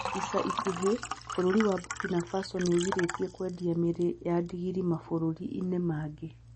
Ica ikuhĩ, Bũrũri wa Burkina Faso nĩ ũgirĩtie kwendia mĩĩrĩ ya ndigiri mabũrũri-inĩ mangĩ.